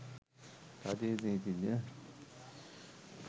රජයේ නීතිඥ